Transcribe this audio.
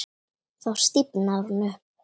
Þá stífnar hún upp.